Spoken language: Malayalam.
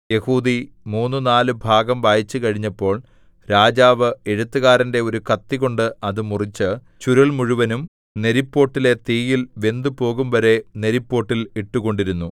യെഹൂദി മൂന്നു നാല് ഭാഗം വായിച്ചുകഴിഞ്ഞപ്പോൾ രാജാവ് എഴുത്തുകാരന്റെ ഒരു കത്തികൊണ്ട് അത് മുറിച്ച് ചുരുൾ മുഴുവനും നെരിപ്പോട്ടിലെ തീയിൽ വെന്തുപോകുംവരെ നെരിപ്പോട്ടിൽ ഇട്ടുകൊണ്ടിരുന്നു